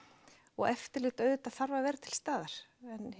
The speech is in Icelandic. og eftirlit auðvitað þarf að vera til staðar